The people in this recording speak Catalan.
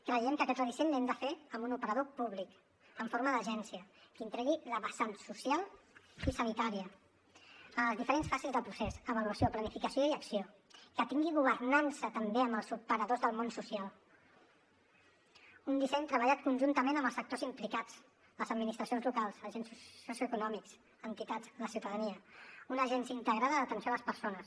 creiem que aquest redisseny l’hem de fer amb un operador públic en forma d’agència que integri la vessant social i sanitària en les diferents fases del procés avaluació planificació i acció que tingui governança també amb els operadors del món social un disseny treballat conjuntament amb els sectors implicats les administracions locals agents socioeconòmics entitats la ciutadania una agència integrada d’atenció a les persones